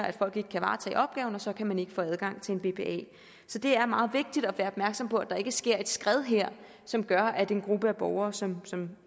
at folk ikke kan varetage opgaven og så kan man ikke få adgang til en bpa så det er meget vigtigt at være opmærksom på at der ikke sker et skred her som gør at en gruppe af borgere som som